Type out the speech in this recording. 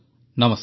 ନମସ୍କାର